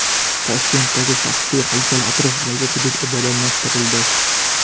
Toshkentdagi Shastri haykali atrofidagi hudud obodonlashtirildi.